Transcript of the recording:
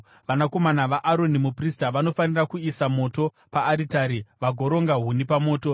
Vanakomana vaAroni, muprista, vanofanira kuisa moto paaritari vagoronga huni pamoto.